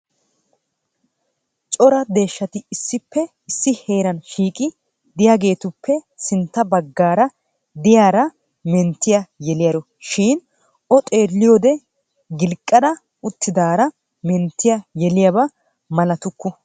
Cora deeshshati issippe issi heeran shiiqi de'iyaagetupe sintta baggaara de'iyaara menttiya yeeliyaaro shin o xeelliyode gilqqa uttidaara menttiyaa yeliyaaba malatukku.